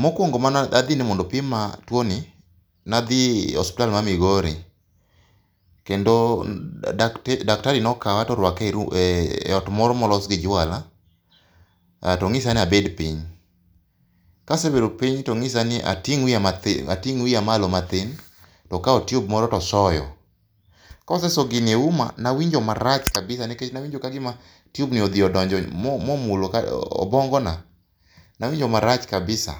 Mokuongo mane adhi mondo opima tuoni, ne adhi e osiptal ma Migori, kendo daktari nokawa nto orwaka eot moro molos gi jwala to onyisa ni abed piny. Ka asebedo piny to onyisa ni ating' ma piny ating' wiya malo matin, to okawo tube moro to osoyo, kose soyo gini euma, ne awinjo marach kabisa nikech ne awinjo ka gima tube no nodonjo momulo obuongona. Ne awinjo marach kabisa.